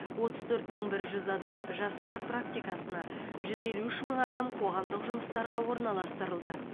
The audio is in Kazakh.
отыз төрт мың бір жүз адам жастар практикасына жүз елу үш мың адам қоғамдық жұмыстарға орналастырылды